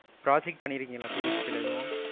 project பண்ணிருக்கீங்களா, PHP ல எதும்?